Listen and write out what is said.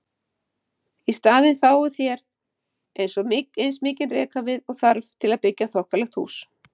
Í staðinn fáið þér eins mikinn rekavið og þarf til að byggja þokkalegt hús.